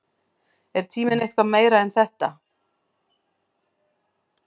Er tíminn eitthvað meira en þetta?